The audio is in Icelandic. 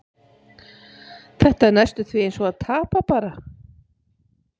Þetta er næstum því eins og að tapa, bara.